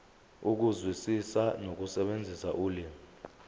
ukuzwisisa nokusebenzisa ulimi